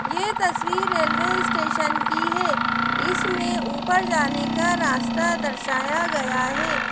ये तस्वीर railway station की है इसमें ऊपर जाने का रास्ता दर्शाया गया है।